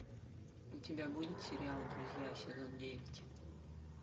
у тебя будет сериал друзья сезон девять